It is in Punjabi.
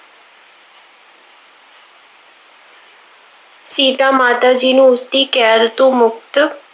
ਸੀਤਾ ਮਾਤਾ ਜੀ ਨੂੰ ਉਸਦੀ ਕੈਦ ਤੋਂ ਮੁਕਤ,